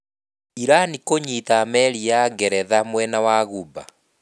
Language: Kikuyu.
Iran kũnyiita meri ya Ngeretha mwena wa Ghuba